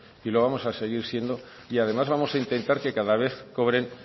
y lo vamos a seguir siendo y además vamos a intentar que cada vez cobren